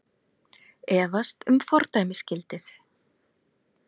Efast um fordæmisgildið